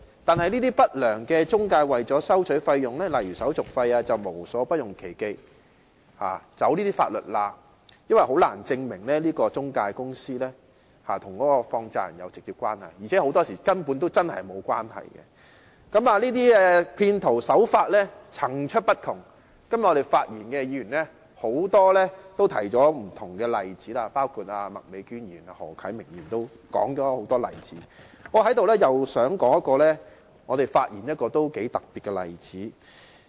但是，這些不良中介為了收取費用便無所不用其極和利用法律漏洞，因為當局很難證明中介公司與放債人有直接關係，而且很多時候兩者的確沒有關係。這些騙徒的手法層出不窮，今天發言的議員都舉出了很多不同例子。我想在這裏說一個頗為特別的例子。